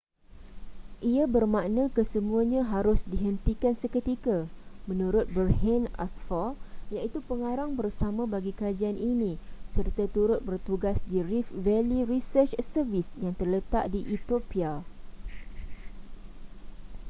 ia bermakna kesemuanya harus dihentikan seketika menurut berhanne asfaw iaitu pengarang bersama bagi kajian ini serta turut bertugas di rift valley research service yang terletak di ethiopia